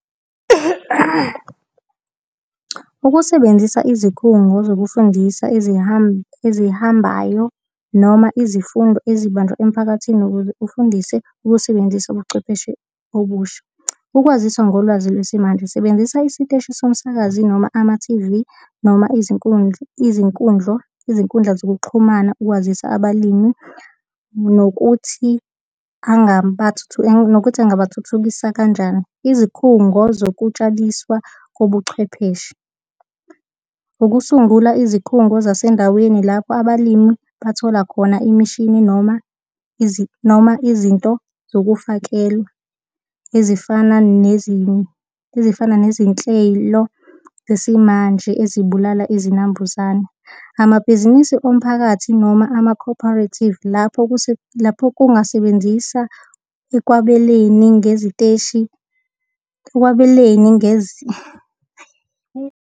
Ukusebenzisa izikhungo zokufundisa ezihambayo noma izifundo ezibanjwa emiphakathini ukuze ufundise ukusebenzisa ubuchwepheshe obusha. Ukwaziswa ngolwazi lwesimanje sebenzisa isiteshi somsakazo noma amathivinoma izinkundla, izinkundla, izinkundla zokuxhumana ukwazisa abalimi nokuthi nokuthi angabathuthukisa kanjani. Izikhungo zokutshaliswa kobuchwepheshe. Ukusungula izikhungo zasendaweni lapho abalimi bathola khona imishini noma noma izinto zokufakelwa ezifana ezifana nezinhlelo zesimanje ezibulala izinambuzane. Amabhizinisi omphakathi noma ama-corporative lapho lapho kungasebenzisa ekwabeleni ngeziteshi, ekwabeleni .